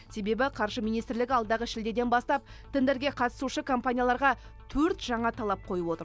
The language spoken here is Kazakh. себебі қаржы министрлігі алдағы шілдеден бастап тендерге қатысушы компанияларға төрт жаңа талап қойып отыр